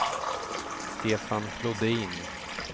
Stefan Flodin